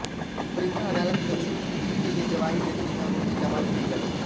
प्रीता अदालत में उनके लिए गवाही देती है और उन्हें जमानत मिल जाती है